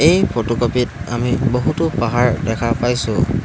এই ফটোকপি ত আমি বহুতো পাহাৰ দেখা পাইছোঁ।